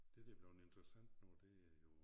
Der der er bleven interessant nu det er jo